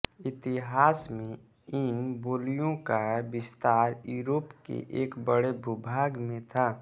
इतिहास में इन बोलियों का विस्तार यूरोप के एक बड़े भूभाग में था